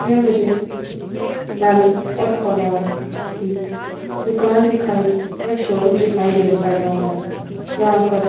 ये मुझे नल और फवार की दुकान दिखाई या शोरूम दिखाई देन पड़ रहा है यहां पर--